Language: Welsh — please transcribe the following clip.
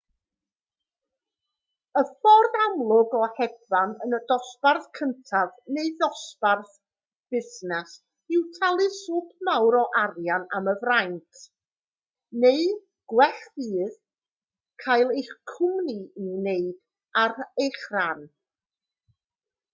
y ffordd amlwg o hedfan yn y dosbarth cyntaf neu ddosbarth busnes yw talu swp mawr o arian am y fraint neu gwell fyth cael eich cwmni i'w wneud ar eich rhan